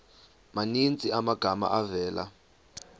maninzi amagama avela